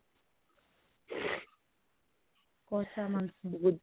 କଷାମାଂସ